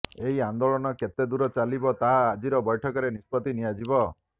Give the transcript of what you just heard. ଏହି ଆନ୍ଦୋଳନ କେତେ ଦୂର ଚାଲିବ ତାହା ଆଜିର ବୈଠକରେ ନିଷ୍ପତ୍ତି ନିଆଯିବ